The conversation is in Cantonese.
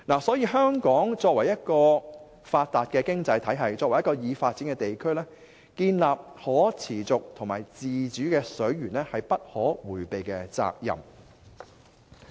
所以香港作為發達的經濟體系及已發展地區，建立可持續和自主的水源是不可迴避的責任。